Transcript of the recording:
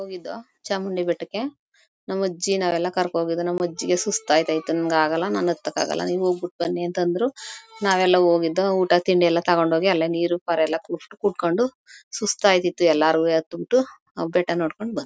ಹೋಗಿದ್ದೋ ಚಾಮುಂಡಿ ಬೆಟ್ಟಕ್ಕೆ ನಮ್ ಅಜ್ಜಿ ಅವರ್ನೆಲ್ಲ ಕರ್ಕೊಂಡ್ ಹೋಗಿದ್ದೋ ನಮ ಅಜ್ಜಿಗೆ ಸುಸ್ತ್ ಆಗತೈತೆ ನಂಗ್ ಆಗಲ್ಲ ನಂಗ್ ಅತ್ತಕ್ ಆಗಲ್ಲ ನೀವ್ ಹೋಗ್ಬಿಟ್ ಬನ್ನಿ ಅಂತ ಅಂದ್ರು ನಾವೆಲ್ಲ ಹೋಗಿದ್ದೋ ಊಟ ತಿಂಡಿ ಎಲ್ಲ ತೊಗೊಂಡ್ ಹೋಗಿ ಅಲ್ಲೇ ನೀರು ಪಾರು ಎಲ್ಲ ಕುಡ್ ಕುಡ್ಕೊಂಡು ಸುಸ್ತ್ ಅಯ್ತಿತ್ತು ಎಲ್ಲರುವೆ ಅತ್ಬಿಟ್ಟು ಬೆಟ್ಟ ನೋಡ್ಕೊಂಡ್ ಬಂಡವೋ.